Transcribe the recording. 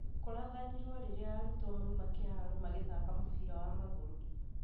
Kũrathanirwo rĩrĩa arutwo mauma kĩharo magĩthaka mũbira wa magũrũ